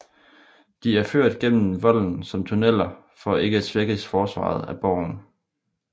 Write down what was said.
De er ført gennem volden som tunneler for ikke at svække forsvaret af borgen